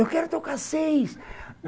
Eu quero tocar seis!